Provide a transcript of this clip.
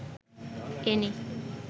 any